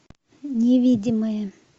невидимые